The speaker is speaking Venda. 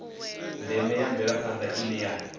ndeme ya mvelaphanda ine ya